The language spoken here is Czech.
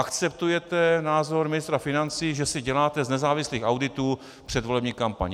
Akceptujete názor ministra financí, že si děláte z nezávislých auditů předvolební kampaň.